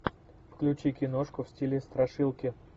включи киношку в стиле страшилки